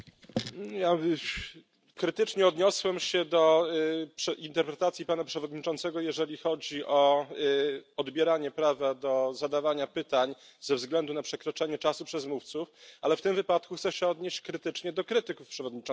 Ja krytycznie odniosłem się do interpretacji pana przewodniczącego, jeżeli chodzi o odbieranie prawa do zadawania pytań ze względu na przekroczenie czasu przez mówców, ale w tym wypadku chcę się odnieść krytycznie do krytyków przewodniczącego.